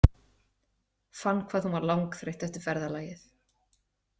Fann hvað hún var langþreytt eftir ferðalagið.